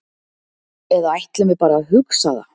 Eða ætlum við bara að hugsa það?